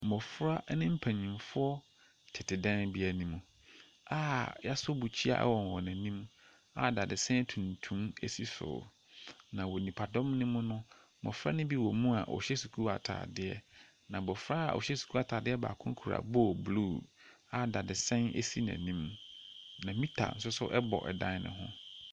Mmɔfra ne mpanimfoɔ tete dan bi anim a wɔasɔ bukyia wɔ wɔn anim a dadesɛn tuntum si so. Na wɔ nipadɔm no mu no, mmɔfra no bi wɔ mu a wɔhyɛ sukuu atadeɛ. Na abɔfra a ɔhyɛ sukuu atadeɛ baako kura bowl blue a dadesɛn si n'anim, na meter nso bɔ dan no ho.